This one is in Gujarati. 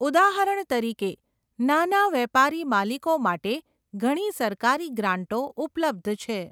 ઉદાહરણ તરીકે, નાના વેપારી માલિકો માટે ઘણી સરકારી ગ્રાંટો ઉપલબ્ધ છે.